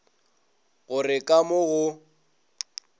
go re ka mo go